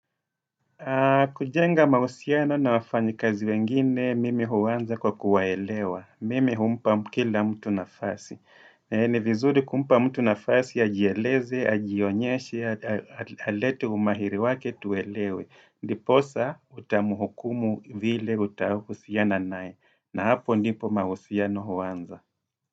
Kujenga mahusiano na wafanyi kazi wengine mimi huanza kwa kuwaelewa. Mime umpa kila mtu nafasi. Ni vizuri kumpa mtu nafasi, ajieleze, ajionyeshe, alete umahiri wake tuelewe. Ndiposa utamuhukumu vile utahusiana naye. Na hapo ndipo mahusiano huanza.